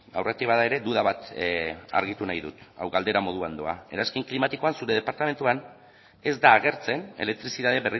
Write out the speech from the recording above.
aurretik bada ere duda bat argitu nahi dut hau galdera moduan doa eranskin klimatikoan zure departamentuan ez da agertzen elektrizitate